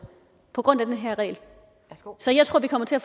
på grund af den her regel så jeg tror det kommer til at